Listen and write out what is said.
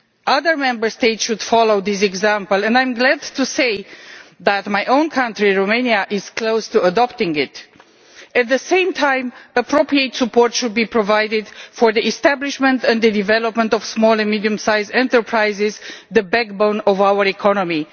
Other Member States should follow this example and I am glad to say that my own country, Romania, is close to adopting it. At the same time, appropriate support should be provided for the establishment and development of small and medium-sized enterprises, the backbone of our economy.